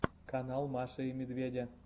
канал маши и медведя